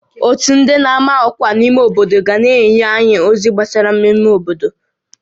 Ótú ndị n'ama ọkwa n'ime obodo ga na-enye anyị ozi gbasara mmemme obodo